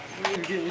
Hə, gedin sən.